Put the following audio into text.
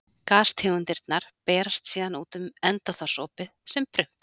Gastegundirnar berast síðan út um endaþarmsopið sem prump.